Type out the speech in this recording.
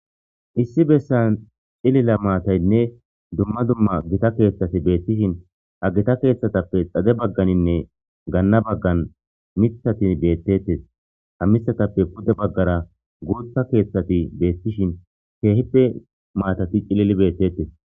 Is besan cilila matatinne dumma dumma Gita kethati betishn, ha Gita kethappe xade baganinne gana bagani mithati betetes, ha mithatappe pude bagara bootha kethati betishn keehippe matati cilil betetesi.